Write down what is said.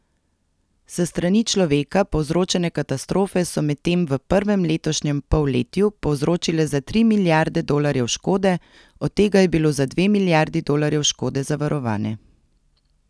S strani človeka povzročene katastrofe so medtem v prvem letošnjem polletju povzročile za tri milijarde dolarjev škode, od tega je bilo za dve milijardi dolarjev škode zavarovane.